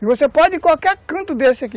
E você pode ir em qualquer canto desse aqui.